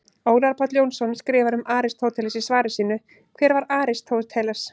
Ólafur Páll Jónsson skrifar um Aristóteles í svari sínu Hver var Aristóteles?